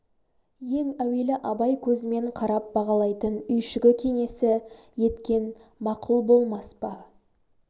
ең әуелі абай көзімен қарап бағалайтын үйшігі кеңесі еткен мақұл болмас па